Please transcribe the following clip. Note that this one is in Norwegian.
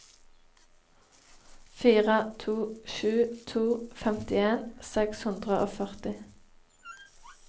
fire to sju to femtien seks hundre og førti